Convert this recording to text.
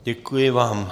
Děkuji vám.